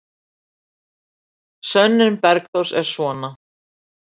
Sönnun Bergþórs er svona: